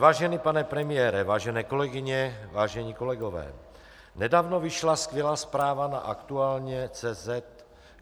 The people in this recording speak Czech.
Vážený pane premiére, vážené kolegyně, vážení kolegové, nedávno vyšla skvělá zpráva na Aktuálně.